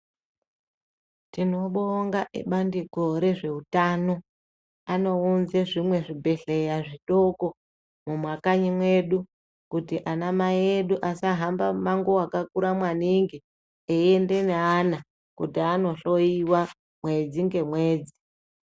Tinobonga ebandiko rezveutano, anounza zvimweni zvibhedheleya zvitoko mumakanyi medu kuti ana mai edu asahamba muhambo wakakura maningi eiende neana kuti anohloyiwa mwedzi ngemwedzi.